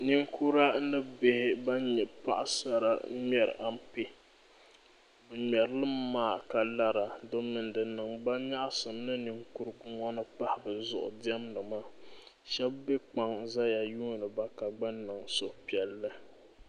ninkura ni bihi ban nyɛ paɣ' sara n-ŋmɛri ampe bɛ ŋmɛri li mi maa ka lara domi di niŋ ba nyaɣisim ni ninkurugu ŋɔ ni pahi bɛ zuɣu diɛmdi maa shɛba be kpaŋ zaya yuuni ba ka gba niŋ suhupiɛlli.